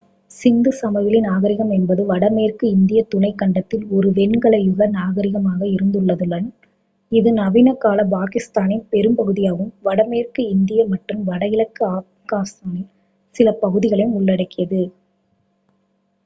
சிந்து சமவெளி நாகரிகம் என்பது வடமேற்கு இந்தியத் துணைக் கண்டத்தில் ஒரு வெண்கல யுக நாகரிகமாக இருந்துள்ளதுடன் இது நவீனகால பாகிஸ்தானின் பெரும்பகுதியையும் வடமேற்கு இந்தியா மற்றும் வடகிழக்கு ஆப்கானிஸ்தானில் சில பகுதிகளையும் உள்ளடக்கியது